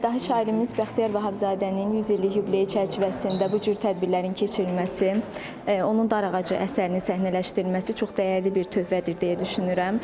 Dahı şairimiz Bəxtiyar Vahabzadənin 100 illik yubileyi çərçivəsində bu cür tədbirlərin keçirilməsi, onun “Darağacı” əsərinin səhnələşdirilməsi çox dəyərli bir töhfədir, deyə düşünürəm.